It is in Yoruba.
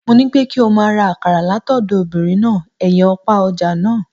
Mo ní pé kí ọ máa ra akàrà látọ̀dọ̀ obinrin náà ẹnyin òpá ọ̀ja náà.